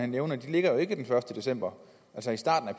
nævnte ligger jo ikke den første december altså i starten af